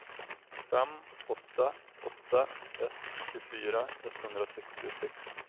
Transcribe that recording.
fem åtta åtta ett tjugofyra etthundrasextiosex